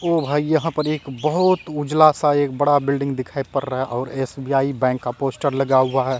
ओ भाई यहां पर एक बहुत उजला सा एक बड़ा बिल्डिंग दिखाई पड़ रहा है और एस_बी_आई बैंक का पोस्टर लगा हुआ है।